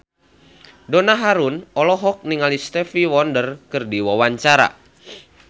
Donna Harun olohok ningali Stevie Wonder keur diwawancara